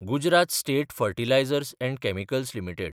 Gujarat state fertilizers and chemicals limited